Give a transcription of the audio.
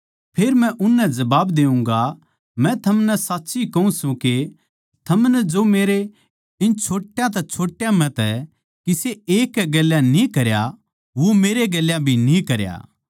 फेर मै उननै जबाब देऊँगा मै थमनै साच्ची कहूँ सूं के थमनै जो मेरे इन छोट्या तै छोट्या म्ह तै किसे एक कै गेल्या न्ही करया वो मेरै गेल्या भी न्ही करया